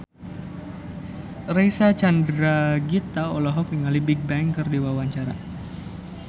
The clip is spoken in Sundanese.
Reysa Chandragitta olohok ningali Bigbang keur diwawancara